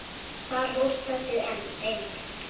Þar hófst þessi eymd.